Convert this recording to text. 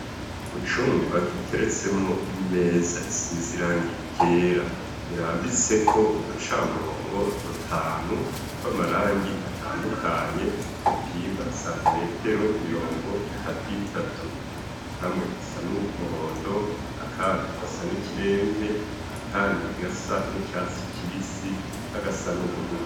Mu cumba giteretsemo imeza isize irangi ryera irambitseko uducamurongo dutanu, tw'amarangi atandukanye dupima santimetero mirongo itatu itatu. Kamwe gasa n'umuhondo, akandi gasa n'ikiremve, akandi gasa n'icatsi kibisi, n'agasa n'uburubu